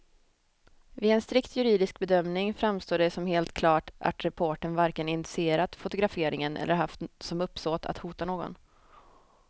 Vid en strikt juridisk bedömning framstår det som helt klart att reportern varken initierat fotograferingen eller haft som uppsåt att hota någon.